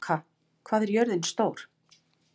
Tóka, hvað er jörðin stór?